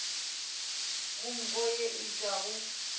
go nko ye e tšwago